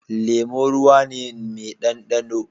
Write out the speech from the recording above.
Lemo ruwane ne me dan da no